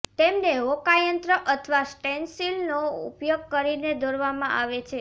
તેમને હોકાયંત્ર અથવા સ્ટેન્સિલનો ઉપયોગ કરીને દોરવામાં આવે છે